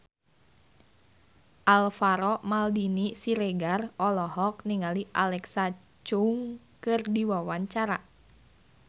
Alvaro Maldini Siregar olohok ningali Alexa Chung keur diwawancara